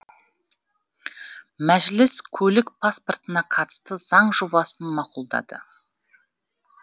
мәжіліс көлік паспортына қатысты заң жобасын мақұлдады